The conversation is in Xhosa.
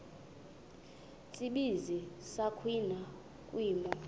tsibizi sakhiwa kwimo